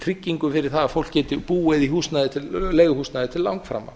tryggingu fyrir það að fólk geti búið í leiguhúsnæði til langframa